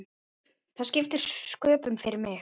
Það skipti sköpum fyrir mig.